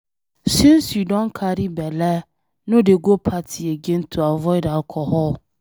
Since you don carry bele no dey go party again to avoid alcohol.